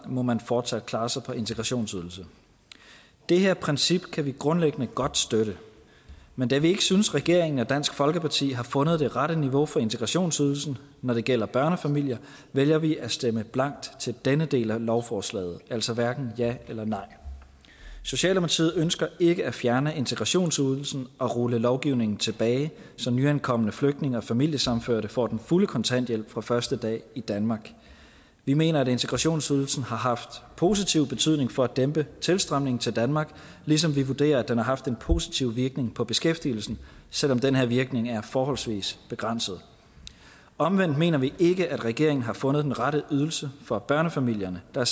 må man fortsat klare sig på integrationsydelse det her princip kan vi grundlæggende godt støtte men da vi ikke synes at regeringen og dansk folkeparti har fundet det rette niveau for integrationsydelsen når det gælder børnefamilier vælger vi at stemme blankt til denne del af lovforslaget altså hverken ja eller nej socialdemokratiet ønsker ikke at fjerne integrationsydelsen og rulle lovgivningen tilbage så nyankomne flygtninge og familiesammenførte får den fulde kontanthjælp fra første dag i danmark vi mener at integrationsydelsen har haft positiv betydning for at dæmpe tilstrømningen til danmark ligesom vi vurderer at den har haft en positiv virkning på beskæftigelsen selv om den her virkning er forholdsvis begrænset omvendt mener vi ikke at regeringen har fundet den rette ydelse for børnefamilierne der